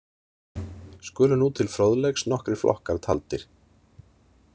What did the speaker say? Skulu nú til fróðleiks nokkrir flokkar taldir.